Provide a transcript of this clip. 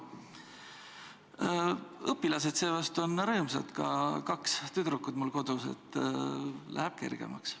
Õpilased seevastu on rõõmsad, ka kaks tüdrukut mul kodus – läheb kergemaks.